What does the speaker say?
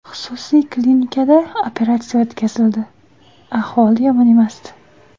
Xususiy klinikida operatsiya o‘tkazildi, ahvoli yomon emasdi.